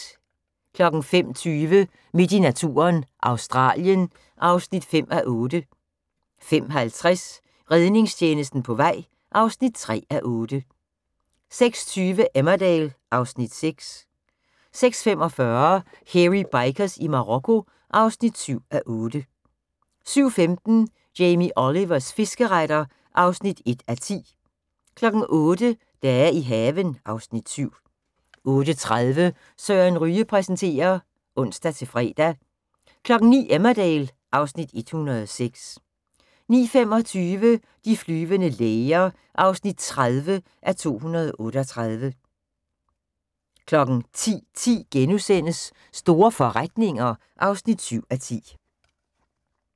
05:20: Midt i naturen – Australien (5:8) 05:50: Redningstjenesten på vej (3:8) 06:20: Emmerdale (Afs. 6) 06:45: Hairy Bikers i Marokko (7:8) 07:15: Jamie Olivers fiskeretter (1:10) 08:00: Dage i haven (Afs. 7) 08:30: Søren Ryge præsenterer (ons-fre) 09:00: Emmerdale (Afs. 106) 09:25: De flyvende læger (30:238) 10:10: Store forretninger (7:10)*